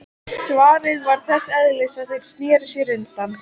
Svarið var þess eðlis að þeir sneru sér undan.